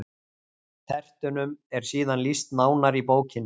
Tertunum er síðan lýst nánar í bókinni: